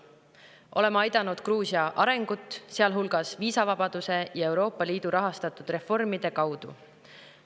Oleme aidanud Gruusia arengut, sealhulgas viisavabaduse ja Euroopa Liidu rahastatud reformide kaudu.